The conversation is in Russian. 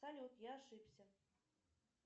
салют я ошибся